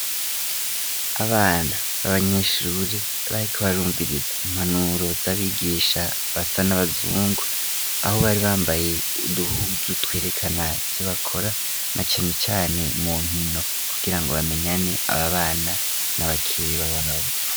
Abana, b'abanyeshure, bariko barumviriza, impanuro z'abigisha, basa n'abazungu; aho, bari bambaye uduhuzu, twerekana ico bakora, na cane cane mu nkino; kugira ngo, bamenyane, ababana, n'abakeba babo.